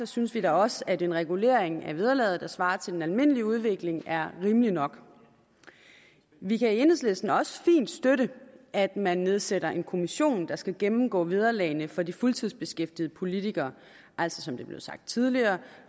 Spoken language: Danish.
synes vi da også at en regulering af vederlaget der svarer til den almindelige udvikling er rimeligt nok vi kan i enhedslisten også fint støtte at man nedsætter en kommission der skal gennemgå vederlagene for de fuldtidsbeskæftigede politikere altså som det er blevet sagt tidligere